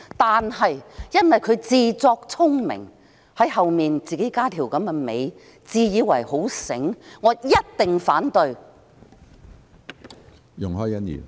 但是，由於他自作聰明，添加了這樣的一條"尾巴"，我一定反對。